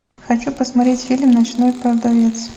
хочу посмотреть фильм ночной продавец